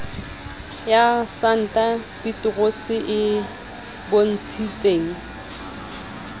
ya santa peterose e bontshitseng